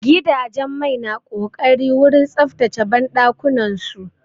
Gidajen mai na ƙoƙari wurin tsaftace banɗakunan su.